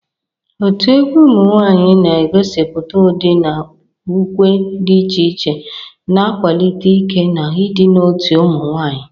Otu egwu ụmụ nwanyị na-egosipụta ụdị na ukwe dị iche iche, na-akwalite ike na ịdị n'otu ụmụ nwanyị.